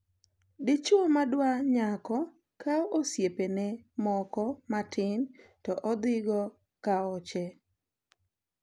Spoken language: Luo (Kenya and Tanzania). Dichwo madwa nyako kawo osiepene moko matin to odhigo kaoche.